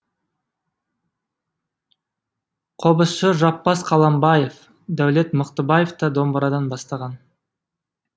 қобызшы жаппас қаламбаев дәулет мықтыбаев та домбырадан бастаған